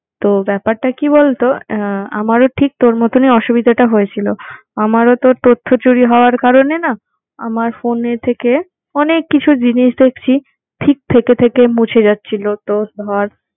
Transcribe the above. তো ব্যাপারটা কি বলতো আহ আমারও ঠিক তোর মতনই অসুবিধাটা হয়েছিল। আমারও তো তথ্যচুরি হওয়ার কারণে না আমার phone এর থেকে অনেক কিছু জিনিস দেখছি ঠিক থেকে থেকে মুছে যাচ্ছিলো। তো ধর